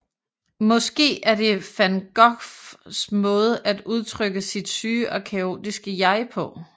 Måske er det van Goghs måde at udtrykke sit syge og kaotiske jeg på